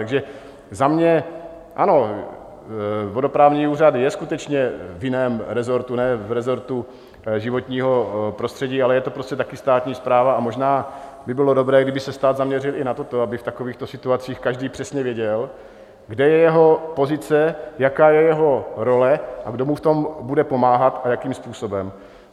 Takže za mě ano, vodoprávní úřad je skutečně v jiném rezortu, ne v rezortu životního prostředí, ale je to prostě taky státní správa, a možná by bylo dobré, kdyby se stát zaměřil i na toto, aby v takovýchto situacích každý přesně věděl, kde je jeho pozice, jaká je jeho role a kdo mu v tom bude pomáhat a jakým způsobem.